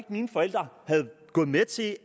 mine forældre var gået med til at